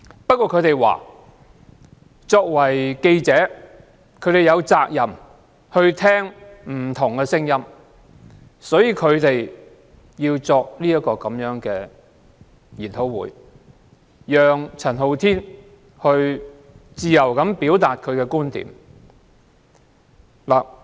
不過，他們表示，記者有責任聆聽不同聲音，所以舉行這個研討會，讓陳浩天自由表達觀點。